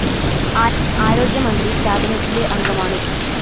ആരോഗ്യ മന്ത്രി കാബിനറ്റിലെ അംഗമാണ്.